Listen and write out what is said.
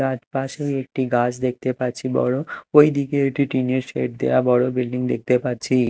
তার পাশেই একটি গাছ দেখতে পাচ্ছি বড়ো ঐদিকে একটি টিন -এর শেড দেওয়া বড়ো বিল্ডিং দেখতে পাচ্ছি।